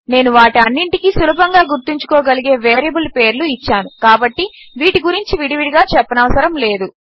నేను వాటి అన్నింటికీ సులభంగా గుర్తుంచుకోగలిగే వేరియబుల్ పేర్లు ఇచ్చాను కాబట్టి వీటి గురించి విడివిడిగా చెప్పనవసరము లేదు